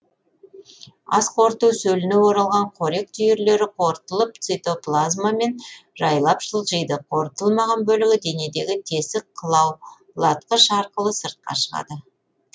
асқорыту сөліне оралған қорек түйірлері қорытылып цитоплазмамен жайлап жылжиды қорытылмаған бөлігі денедегі тесік қылаулатқыш арқылы сыртқа шығады